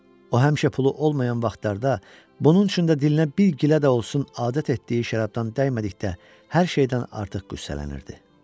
O həmişə pulu olmayan vaxtlarda bunun üçün də dilinə bir gilə də olsa adət etdiyi şərabdan dəymədikdə hər şeydən artıq qüssələnirdi.